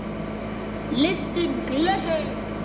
Lyftum glösum!